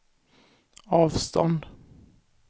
avstånd